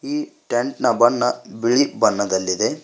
ಈ ಟೆಂಟ್ ನ ಬಣ್ಣ ಬಿಳಿ ಬಣ್ಣದಲ್ಲಿದೆ.